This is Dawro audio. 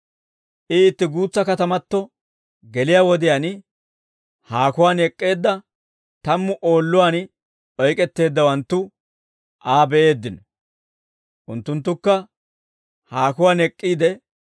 I itti guutsa katamato geliyaa wodiyaan, haakuwaan ek'k'eedda tammu oolluwaan oyk'etteeddawanttu Aa be'eeddino. Unttunttukka haakuwaan ek'k'iide,